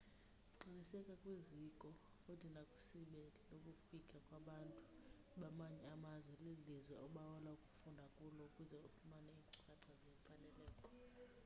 qinisekisa kwizikoo futhi nakwisebe lokufika kwabantu bamanye amazwe lelilizwe obawela ukufunda kulo ukuze ufumane iinkcukacha zeemfaneleko